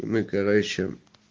и мы короче